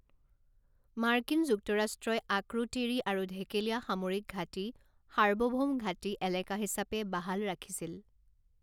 মাৰ্কিন যুক্তৰাষ্ট্ৰই আক্ৰোতিৰি আৰু ঢেকেলীয়া সামৰিক ঘাটি সাৰ্বভৌম ঘাটি এলেকা হিচাপে বাহাল ৰাখিছিল।